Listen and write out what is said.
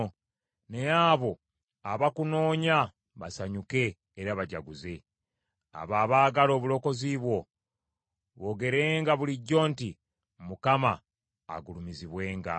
Naye abo abakunoonya basanyuke era bajaguze; abo abaagala obulokozi bwo boogerenga bulijjo nti, “ Mukama agulumizibwenga.”